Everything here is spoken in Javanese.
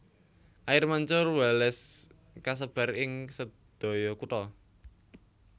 Air Mancur Wallace kasebar ing sedaya kutha